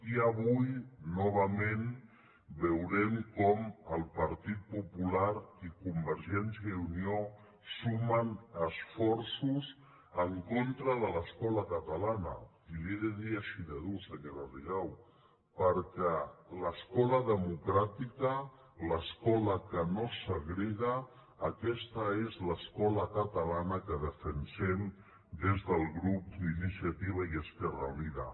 i avui novament veurem com el partit popular i convergència i unió sumen esforços en contra de l’escola catalana i li ho he de dir així de durament senyora rigau perquè l’escola democràtica l’escola que no segrega aquesta és l’escola catalana que defensem des del grup d’iniciativa i esquerra unida